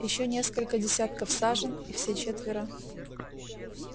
ещё несколько десятков сажен и все четверо